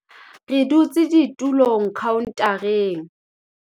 re dutse ditulong khaontareng